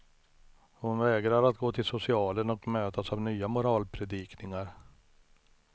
Hon vägrar att gå till socialen och mötas av nya moralpredikningar.